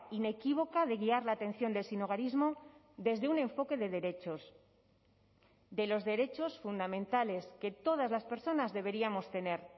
inequívoca de guiar la atención del sinhogarismo desde un enfoque de derechos de los derechos fundamentales que todas las personas deberíamos tener